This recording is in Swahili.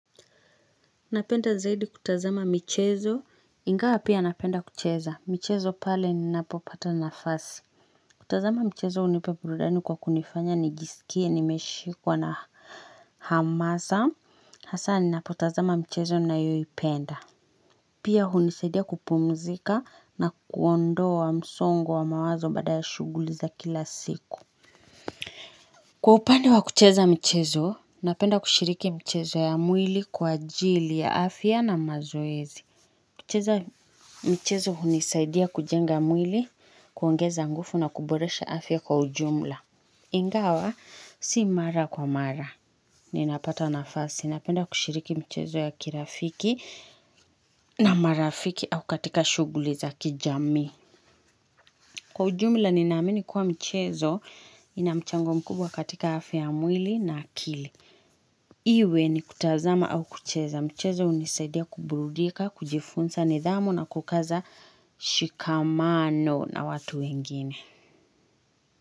Napenda zaidi kutazama michezo. Ingawa pia napenda kucheza. Michezo pale ninapopata nafasi. Kutazama michezo hunipa burudani kwa kunifanya. Nijisikie nimeshikwa na hamasa. Hasa ninapotazama michezo ninayoipenda. Pia hunisaidia kupumuzika na kuondoa msongo wa mawazo baada ya shughuli za kila siku. Kwa upande wa kucheza michezo. Napenda kushiriki michezo ya mwili kwa jili ya afya na mazoezi. Michezo hunisaidia kujenga mwili, kuongeza nguvu na kuboresha afya kwa ujumula. Ingawa si mara kwa mara. Ninapata nafasi. Napenda kushiriki michezo ya kirafiki na marafiki au katika shughuli za kijami. Kwa ujumula ninamini kuwa michezo na mchango mkubwa katika afya ya mwili na akili. Iwe ni kutazama au kucheza. Michezo hunisaidia kuburudika, kujifunza nidhamu na kukaza shikamano na watu wengine.